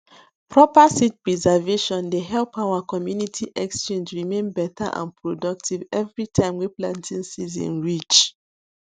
proper seed preservation dey help our community exchange remain better and productive every time wey planting season reach